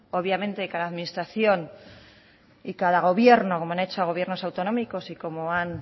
obviamente cada administración y cada gobierno como lo han hecho gobiernos autonómicos y como han